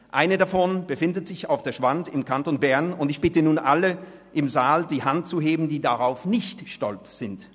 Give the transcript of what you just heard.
Eine davon befindet sich auf der Schwand im Kanton Bern, und ich bitte nun alle im Saal, die Hand zu heben, die darauf nicht stolz sind.